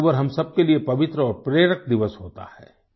02 अक्टूबर हम सबके लिए पवित्र और प्रेरक दिवस होता है